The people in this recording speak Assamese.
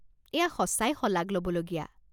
এয়া সঁচাই শলাগ ল'বলগীয়া।